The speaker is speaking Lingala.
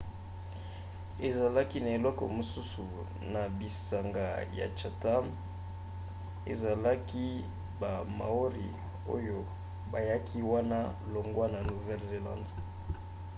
ezalaki na ekolo mosusu na bisanga ya chatham ezalaki ba maori oyo bayaki wana longwa na nouvelle-zelande